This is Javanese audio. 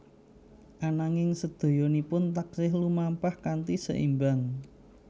Ananging sedayanipun taksih lumampah kanthi seimbang